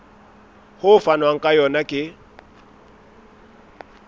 ho fanwang ka yona ke